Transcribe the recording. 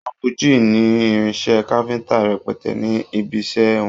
Uncle Jix ní irinṣẹ́ káfíńtà rẹpẹtẹ ní ibiṣẹ́ wọn.